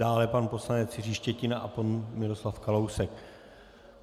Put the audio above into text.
Dále pan poslanec Jiří Štětina a pan Miroslav Kalousek.